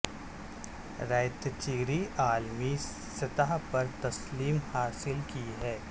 ریت چیری عالمی سطح پر تسلیم حاصل کی ہے